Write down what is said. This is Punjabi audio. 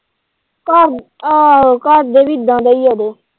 ਆਹੋ ਘਰਦੇ ਵੀ ਇੱਦਾ ਦੇ ਹੀ ਇਹ ਇਹਦੇ।